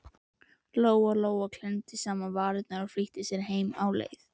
Lóa Lóa klemmdi saman varirnar og flýtti sér heim á leið.